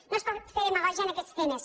no es pot fer demagògia en aquests temes